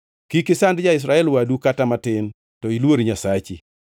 Kik isand ja-Israel wadu kata matin, to iluor Nyasachi.